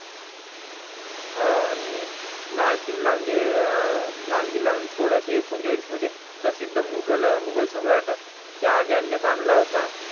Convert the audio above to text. हो आणि लाल किल्ला म्हणजे लाल किल्ला म्हणजे थोडासा एकोणचाळीस मध्ये प्रसिद्ध मुघल मुघल सम्राट ज्या ज्या ने बांधला होता.